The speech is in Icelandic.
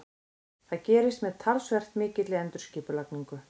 Það gerist með talsvert mikilli endurskipulagningu.